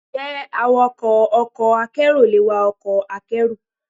Ǹjẹ́ awakọ̀ ọkọ̀ akérò le wa ọkọ̀ akẹ́rù?